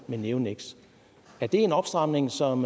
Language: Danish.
med neoniks er det en opstramning som